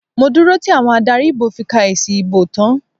Mo dúró tí àwọn adarí ìbò fi ka èsì ìbò tán.